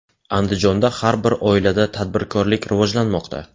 Andijonda har bir oilada tadbirkorlik rivojlanmoqda.